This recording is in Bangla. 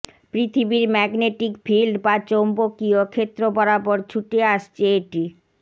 পৃথিবীর ম্যাগনেটিক ফিল্ড বা চৌম্বকীয় ক্ষেত্র বরাবর ছুটে আসছে এটি